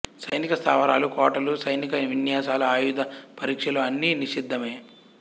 సైనిక స్థావరాలు కోటలు సైనిక విన్యాసాలు ఆయుధ పరీక్షలు అన్నీ నిషిద్ధమే